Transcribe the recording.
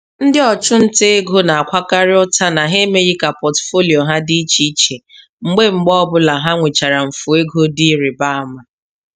Ndị ọchụnta ego na-akwakarị ụta na ha emeghị ka pọtụfoliyo ha dị iche iche mgbe mgbe ọbụla ha nwechara mfu ego dị ịrị ba ama.